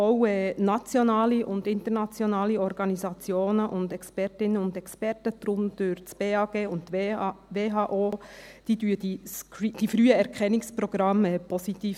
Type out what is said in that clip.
Auch nationale und internationale Organisationen und Expertinnen und Experten, darunter das Bundesamt für Gesundheit (BAG) und die WHO, beurteilen die Früherkennungsprogramme positiv.